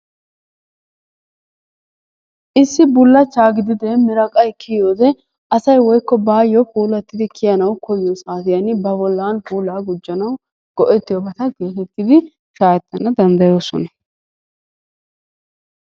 Issi bullachchaa gididee miraqqay kiyoode asay woykko baayoo puullattidi kiyanawu koyyiyoo saatiyaan asay ba bollaan puulaa guujjanawu go"ettiyoobata geetettidi shaahetanwu danddayoosona.